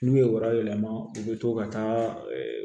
N'u ye wara yɛlɛma u bɛ to ka taa